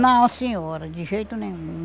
Não, senhora, de jeito nenhum.